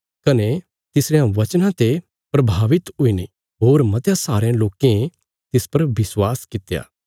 कने तिसरयां बचनां ते प्रभावित हुईने होर मतयां सारयां लोकें तिस पर विश्वास कित्या